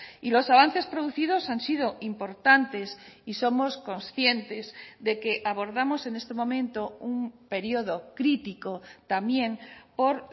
y los avances producidos han sido importantes y somos conscientes de que abordamos en este momento un período crítico también por